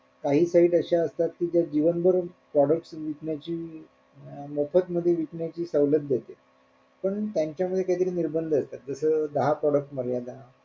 काही काही अश्या असतात कि ज्या जीवनभर products विकण्याची अं मोफत मध्ये विकण्याची सवलत देते पण त्यांचे पण काय तरी निर्बंध येतात जस दहा product मर्यादा